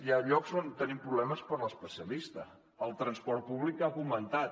hi ha llocs on tenim problemes per a l’especialista o el transport públic que s’ha comentat